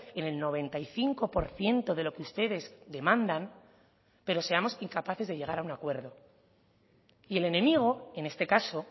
en el noventa y cinco por ciento de lo que ustedes demandan pero seamos incapaces de llegar a un acuerdo y el enemigo en este caso